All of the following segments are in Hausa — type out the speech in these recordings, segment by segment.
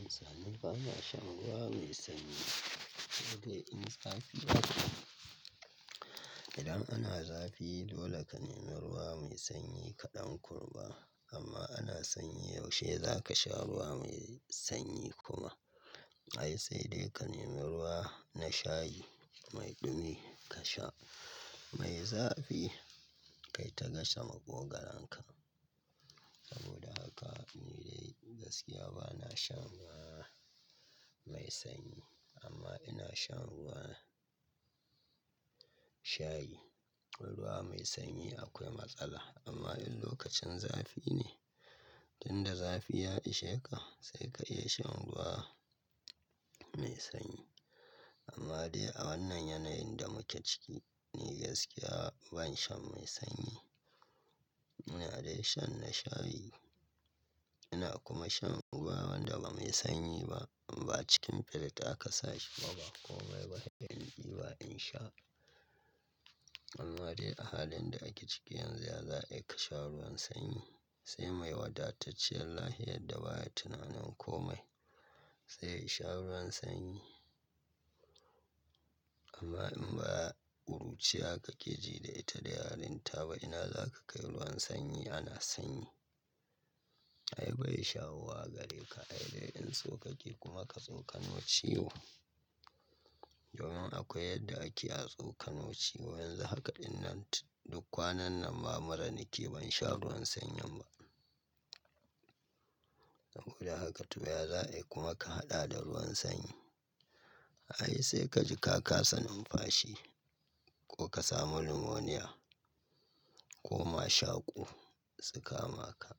Ni tsani ba na shan ruwa mai sanyi sai dai in zafi. Idan ana zafi dole ka nemi ruwa mai sanyi kaɗan kurɓa. Amma ana sanyi yaushe zaka sha ruwa mai sanyi kuma? Ai sai dai ka nemi ruwa na shayi mai dumi ka sha. Mai zafi kayi ta gasa maƙogaronka. Saboda haka ni dai gaskiya ba na shan ruwa mai sanyi amma ina shan ruwa shayi. Ruwa mai sanyi akwai matsala amma in lokacin zafi ne, tunda zafi ya ishe ka sai ka iya shan ruwa mai sanyi. Amma dai a wannan yanayin da muke ciki ni gaskiya ban shan mai sanyi. Ina dai shan na shayi ina kuma shan ruwa wanda ba mai sanyi ba, ba cikin firji aka sashi ba ko mai bahinɗi ba in sha. Amma dai a halin da ake ciki yanzu, ya za a ya ka sha ruwan sanyi sai mai wadatacciyar lahiyar da baya tunanin kome sai ya sha ruwan sanyi. Amma in ba ƙuruciya kake ji da ita da yarinta ba ina zaka kai ruwan sanyi ana sanyi? Ai bai shawuwa gare ka, sai dai in so kake kuma ka tsinkano ciwo. Yanzu akwai yadda ake a tsinkono ciwo, yanzu haka ɗin nan duk kwanan nan ma mura ni ke ban sha ruwan sanyin ba. Saboda haka to ya za a yi kuma ka haɗa da ruwan sanyi. Ai sai ka ji ka kasa numfashi ko ka samu pneumonia ko ma shaƙu, su kama ka.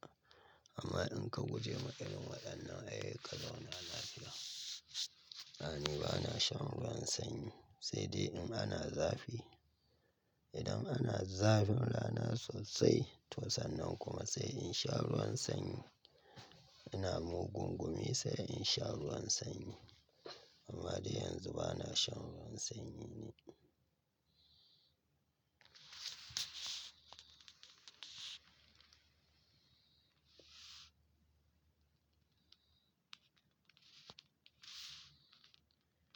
Amma in ka guje ma irin waɗannan ai sai ka zauna lafiya. iNa ni ba na shan ruwan sanyi sai dai in ana zafi. Idan ana zafin rana sosai, to sannan kuma sai in sha ruwan sanyi. Ina mugun gumi sai in sha ruwan sanyi. Amma dai yanzu ba na shan ruwan sanyi ni.